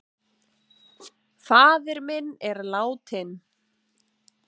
Faðir minn er látinn.